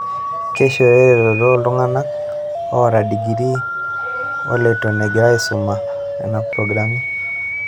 Keishoyo eretoto toltungani oata digiri oleiton engira aisuma nena progirami.